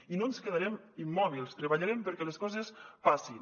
i no ens quedarem immòbils treballarem perquè les coses passin